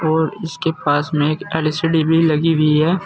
और इसके पास में एक एल_सी_डी भी लगी हुई है।